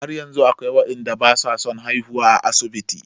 Har yanzu akwai waɗanda ba su son haihuwa a asibiti.